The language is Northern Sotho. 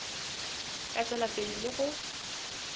ka tšwela pele le go